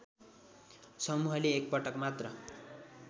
समूहले एकपटक मात्र